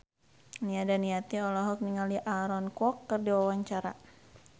Nia Daniati olohok ningali Aaron Kwok keur diwawancara